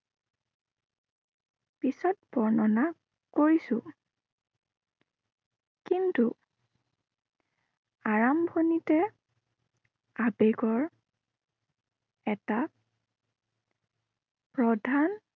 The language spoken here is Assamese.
পিছত বৰ্ণনা, কৰিছো। কিন্তু আৰাম্ভণিতে আবেগৰ এটা প্ৰধান